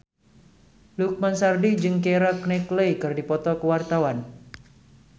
Lukman Sardi jeung Keira Knightley keur dipoto ku wartawan